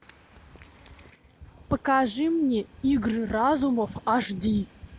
покажи мне игры разумов аш ди